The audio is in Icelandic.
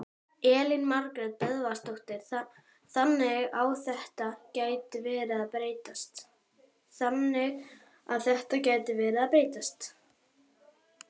Elín Margrét Böðvarsdóttir: Þannig að þetta gæti verið að breytast?